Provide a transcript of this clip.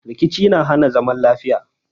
Rkici na hana zaman lafiya.